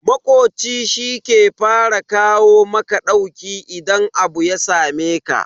Makoci shi ke fara kawo maka ɗauki idan abu ya sameka.